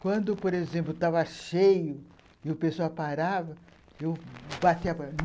Quando, por exemplo, estava cheio e o pessoal parava, eu